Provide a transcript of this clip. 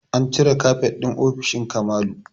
An cire kafet ɗin ofishin Kamalu